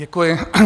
Děkuji.